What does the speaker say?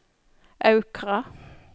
Aukra